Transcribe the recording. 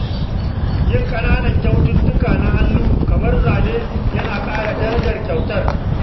Yin ƙananan kyaututtuka na hannu kamar zane yana ƙara darajar kyautar.